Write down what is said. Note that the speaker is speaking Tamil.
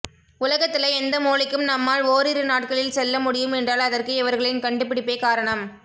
உலகத்துல எந்த மூலைக்கும் நம்மால் ஓரிரு நாட்களில் செல்ல முடியும் என்றால் அதற்கு இவர்களின் கண்டுபிடிப்பே காரணம்